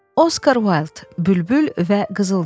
Oskar Wild, Bülbül və Qızılgül.